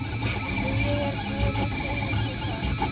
Jú, ég er búinn að segja þér það.